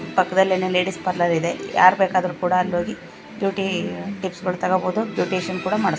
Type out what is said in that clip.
ಪಕ್ಕದಲ್ಲೇನೇ ladies parlour ಇದೆ ಯಾರ್ ಬೇಕಾದ್ರೂ ಕೂಡ ಅಲ್ಲೋಗಿ ಬ್ಯುಟಿ ಟಿಪ್ಸ್ ಗಳು ತಗೋಬಹುದು ಬ್ಯೂಟಿಷಿಯನ್ ಕೂಡ ಮಾಡಿಸ್ಕೊಬಹು --